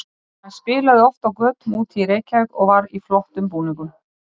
Olli henni áhyggjum sú spurning.